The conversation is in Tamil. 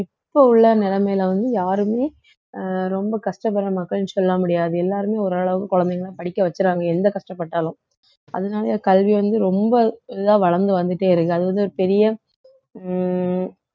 இப்ப உள்ள நிலைமையில வந்து யாருமே அஹ் ரொம்ப கஷ்டப்படுற மக்கள்ன்னு சொல்ல முடியாது எல்லாருமே ஓரளவுக்கு குழந்தைங்களை படிக்க வைக்கிறாங்க எந்த கஷ்டப்பட்டாலும் அதனால கல்வி வந்து ரொம்ப இதா வளர்ந்து வந்துட்டே இருக்கு அது வந்து ஒரு பெரிய உம்